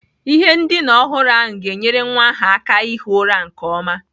Ihe ndina ọhụrụ ahụ ga-enyere nwa ahụ aka ihi ụra nke ọma.